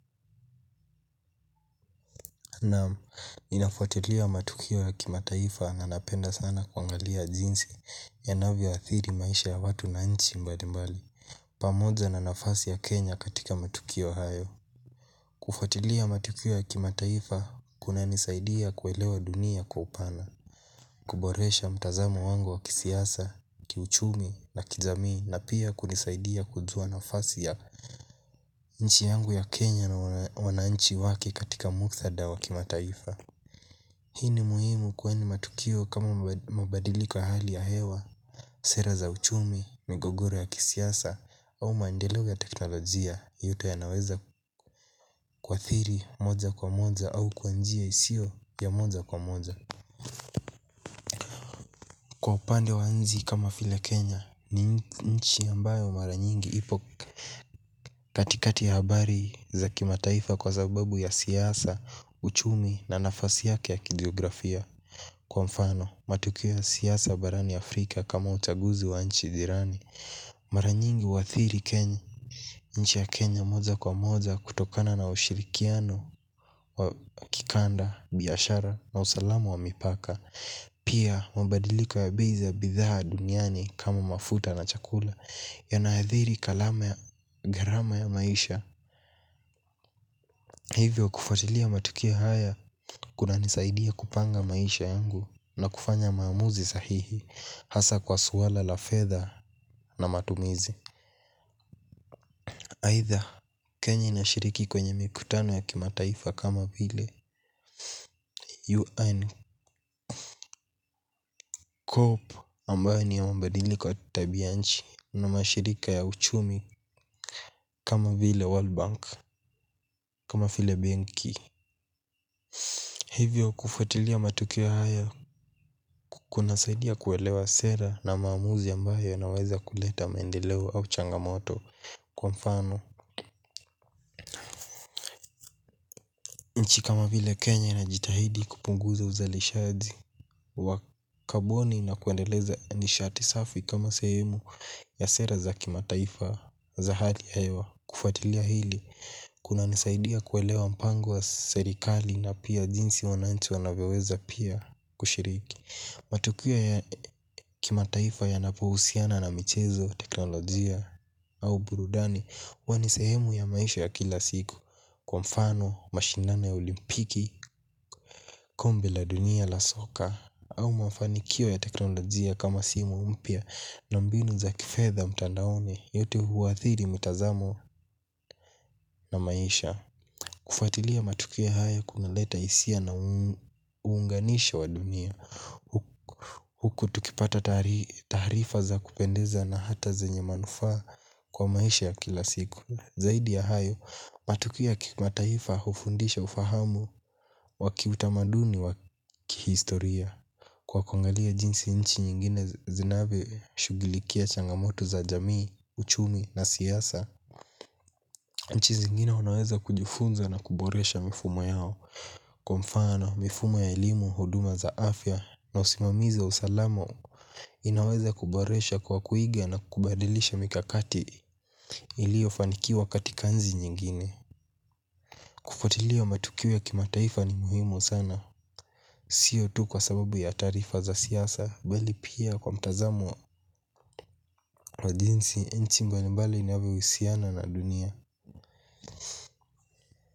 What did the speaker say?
Naam, ninafuatilia matukio ya kimataifa na napenda sana kuangalia jinsi yanavyo athiri maisha ya watu na nchi mbalimbali pamoja na nafasi ya Kenya katika matukio hayo. Kufuatilia matukio ya kimataifa kuna nisaidia kuelewa dunia kwa upana kuboresha mtazamo wangu wa kisiasa, kiuchumi na kijamii na pia kunisaidia kujua nafasi ya nchi yangu ya Kenya na wananchi wake katika muktadha wa kimataifa. Hii ni muhimu kwani matukio kama mabadiliko ya hali ya hewa, sera za uchumi, migogoro ya kisiasa, au maendeleo ya teknolojia yote yanaweza kuathiri moja kwa moja au kwa njia isiyo ya moja kwa moja. Kwa upande wa nchi kama vile Kenya, ni nchi ambayo mara nyingi ipo katikati ya habari za kimataifa kwa sababu ya siasa, uchumi na nafasi yake yake ya kijiografia. Kwa mfano, matukio siasa barani Afrika kama uchaguzi wa nchi jirani mara nyingi huathiri Kenya, nchi ya Kenya moja kwa moja kutokana na ushirikiano wa kikanda, biashara na usalama wa mipaka pia mabadiliko ya bei ya bidhaa duniani kama mafuta na chakula yanathiri kalama ya, gharama ya maisha. Hivyo kufuatilia matukia haya kunanisaidia kupanga maisha yangu na kufanya maamuzi sahihi hasa kwa swala la fedha na matumizi. Aitha Kenya inashiriki kwenye mikutano ya kimataifa kama vile UN Corp ambayo ni ya mabadiliko ya tabia nchi na mashirika ya uchumi kama vile World Bank kama vile Benki Hivyo kufatilia matukio haya kuna saidia kuelewa sera na maamuzi ambayo yanaweza kuleta maendeleo au changamoto kwa mfano. Nchi kama vile Kenya na inajitahidi kupunguza uzalishazi wa kaboni na kuendeleza nishati safi kama sehemu ya sera za kimataifa za hali ya hewa kufatilia hili kuna nisaidia kuwelewa mpango wa serikali na pia jinsi wananchi wanavyoweza pia kushiriki matukio ya kimataifa yanapohusiana na michezo, teknolojia au burudani huwa ni sehemu ya maisha ya kila siku kwa mfano, mashindana ya olimpiki, kombe la dunia la soka au mafanikio ya teknolojia kama simu mpya na mbinu za kifedha mtandaoni yote huwathiri mitazamo. Na maisha. Kufuatilia matukio haya kuna leta hisia na uunganisha wa dunia. Huku tukipata taarifa za kupendeza na hata zenye manufaa kwa maisha ya kila siku zaidi ya hayo, matukio ya kimataifa hufundisha ufahamu wa kiutamaduni wa kihistoria kwa kuangalia jinsi nchi nyingine zinavyo shughulikia changamoto za jamii, uchumi na siasa. Nchi zingine unaweza kujufunza na kuboresha mifumo yao kwa mfano, mifumo ya elimu, huduma za afya na usimamizi wa usalama. Inaweza kuboresha kwa kuiga na kubadilisha mikakati iliofanikiwa katika nchi nyingine. Kufuatilia matukio ya kimataifa ni muhimu sana sio tu kwa sababu ya taarifa za siasa bali pia kwa mtazamo wa jinsi nchi mbalimbali inavyo husiana na dunia.